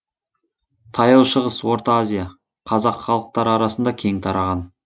таяу шығыс орта азия қазақ халықтары арасында кең тараған